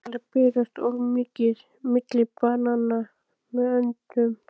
Keðjusýklar berast oft milli manna með öndun.